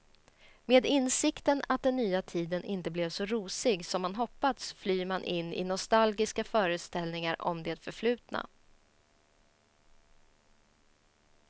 Med insikten att den nya tiden inte blev så rosig som man hoppats flyr man in i nostalgiska föreställningar om det förflutna.